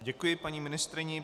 Děkuji paní ministryni.